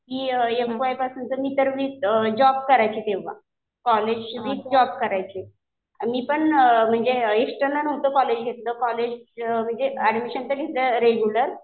कि F Y पासून तर मी सर्व्हिस, जॉब करायचे तेव्हा. कॉलेज बी जॉब करायचे. मी पण एक्स्टर्नल नव्हतं कॉलेज घेतलं. कॉलेज म्हणजे ऍडमिशन तर घेतलं रेग्युलर.